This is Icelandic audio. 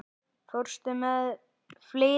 Fórstu með fleiri bréf?